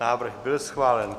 Návrh byl schválen.